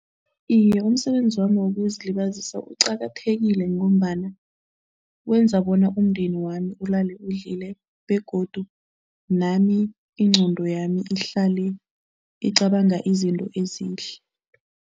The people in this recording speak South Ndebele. Iye, umsebenzi wami wokuzilibazisa uqakathekile ngombana wenza bona umndeni wami ulale udlile begodu nami ingqondo yami ihlale icabanga izinto ezihle.